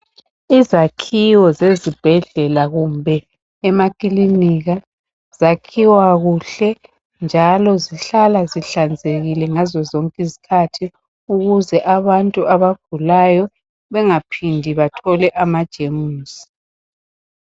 izakhiwo zezibhedlela kumbe emakilinika zakhiwa kuhle njalo zihlala zihlanzekile ngazo zonke izikhathi ukwenzela abantu abagulayo bengaphindi bathole ama jemuzi